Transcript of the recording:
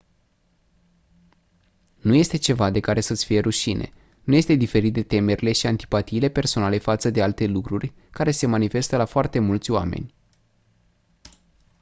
nu este ceva de care să-ți fie rușine nu este diferit de temerile și antipatiile personale față de alte lucruri care se manifestă la foarte mulți oameni